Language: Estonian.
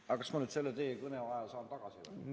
Aga kas ma nüüd selle teie kõne aja saan tagasi?